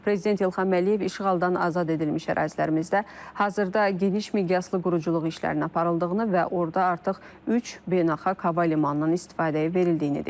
Prezident İlham Əliyev işğaldan azad edilmiş ərazilərimizdə hazırda geniş miqyaslı quruculuq işlərinin aparıldığını və orada artıq üç beynəlxalq hava limanının istifadəyə verildiyini deyib.